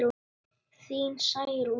Þín Særún.